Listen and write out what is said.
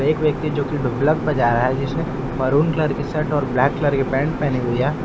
एक व्यक्ति जो कि ढोलक बजा रहा है जिसने मरून कलर की शर्ट और ब्लैक कलर की पैंट पहनी हुई है।